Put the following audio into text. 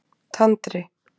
Tandri